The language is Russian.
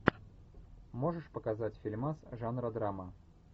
можешь показать фильмас жанра драма